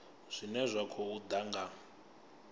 zwine zwa khou ḓa nga